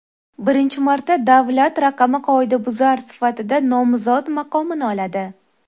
Birinchi marta davlat raqami qoidabuzar sifatida nomzod maqomini oladi.